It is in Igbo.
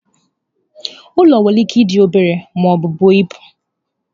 Ụlọ nwere ike ịdị obere ma ọ bụ buo ibu.